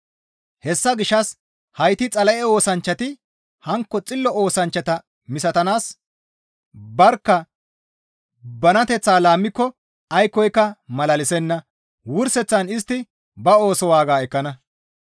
Hessa gishshas heyti Xala7e oosanchchati hankko xillo oosanchchata misatanaas barkka banateththaa laammiko aykkoka malalisenna; wurseththan istti ba ooso waaga ekkana.